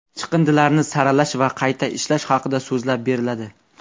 chiqindilarni saralash va qayta ishlash haqida so‘zlab beriladi.